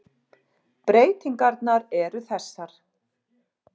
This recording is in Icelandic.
Breytingarnar eru þessar.